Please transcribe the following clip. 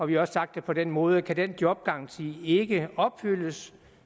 vi har også sagt det på den måde at kan den jobgaranti ikke opfyldes